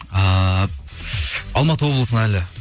ііі алматы облысына әлі